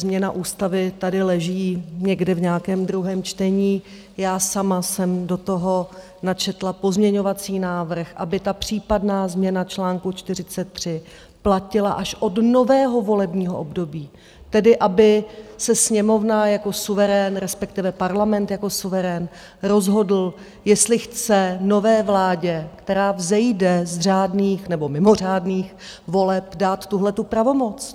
Změna ústavy tady leží někde v nějakém druhém čtení, já sama jsem do toho načetla pozměňovací návrh, aby ta případná změna článku 43 platila až od nového volebního období, tedy aby se Sněmovna jako suverén, respektive Parlament jako suverén rozhodl, jestli chce nové vládě, která vzejde z řádných nebo mimořádných voleb, dát tuhle pravomoc.